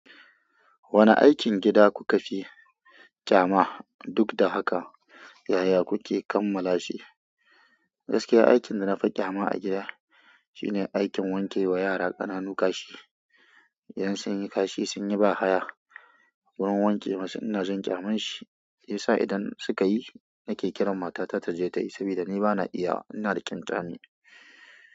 Wane aikin gida kuka fi ƙyama, duk da haka yaya kuke kammala shi? Gaskiya aikin da na fi ƙyama a gida shi ne aikin wanke wa yara ƙananu kashi. Idan sun yi kashi, sun yi ba haya. Wurin wanke masu ina jin ƙyamam shi, shi yasa idan suka yi nake kiran mata ta ta je ta yi sabida ni ba na iyawa ba. Ina da ƙyanƙyami.